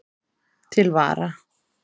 Til vara